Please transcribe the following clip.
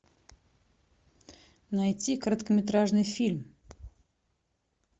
найти короткометражный фильм